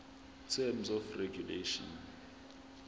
terms of regulation